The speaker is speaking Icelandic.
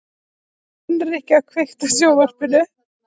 Hinrikka, kveiktu á sjónvarpinu.